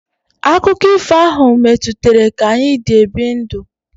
Akụkọ ifo ahụ metụtara ka anyị dị ebi ndụ.